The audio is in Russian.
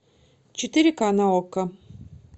четыре ка на окко